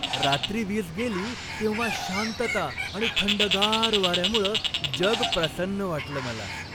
रात्री वीज गेली तेव्हा शांतता आणि थंडगार वाऱ्यामुळं जग प्रसन्न वाटलं मला.